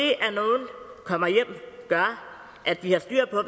og kommer hjem gør at vi har styr på